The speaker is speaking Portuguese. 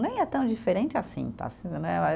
Nem é tão diferente assim, tá? né